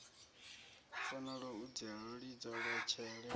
fanelwa u lidzelwa tshele hu